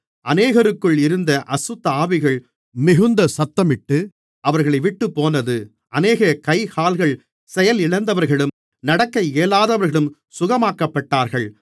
அநேகருக்குள் இருந்த அசுத்தஆவிகள் மிகுந்த சத்தமிட்டு அவர்களைவிட்டுப்போனது அநேக கைகால்கள் செயலிலந்தவர்களும் நடக்க இயலாதவர்களும் சுகமாக்கப்பட்டார்கள்